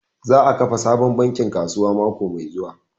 Eh, za a kafa sabon bankin kasuwa mako mai zuwa